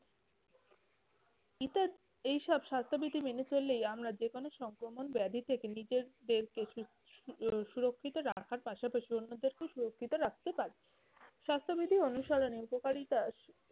এইসব স্বাস্থ্যবিধি মেনে চললেই আমরা যে কোন সংক্রমণ ব্যাধি থেকে নিজে দেরকে সুরক্ষিত রাখার পাশাপাশি অন্যদেরকেও সুরক্ষিত রাখতে পারবে। স্বাস্থ্যবিধি অনুসরণের উপকারিতা